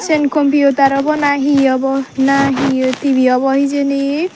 sian computer obona he obo na he TV obo hijeni.